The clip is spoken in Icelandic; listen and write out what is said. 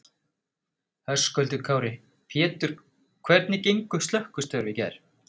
Höskuldur Kári: Pétur hvernig gengu slökkvistörf í gær?